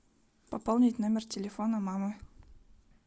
пополнить номер телефона мамы